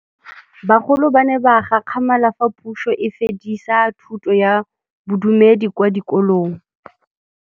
Bagolo ba ne ba gakgamala fa Pusô e fedisa thutô ya Bodumedi kwa dikolong.